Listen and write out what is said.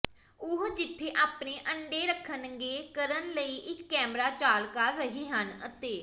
ਉਹ ਜਿੱਥੇ ਆਪਣੇ ਅੰਡੇ ਰੱਖਣਗੇ ਕਰਨ ਲਈ ਇੱਕ ਕੈਮਰਾ ਚਾਲ ਕਰ ਰਹੇ ਹਨ ਅਤੇ